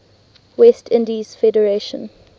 west indies federation